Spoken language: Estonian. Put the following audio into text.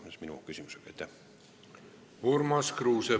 Urmas Kruuse, palun!